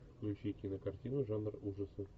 включи кинокартину жанр ужасов